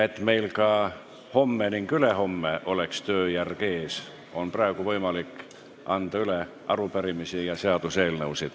Et meil oleks ka homme ning ülehomme tööjärg ees, on praegu võimalik anda üle arupärimisi ja seaduseelnõusid.